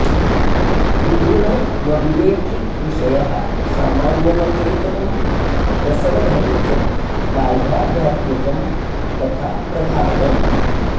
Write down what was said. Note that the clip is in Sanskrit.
त्रिगुणमविवेकि विषयः सामान्यमचेतनं प्रसवधर्मि च बाह्याध्यात्मिकं तथा प्रधानम्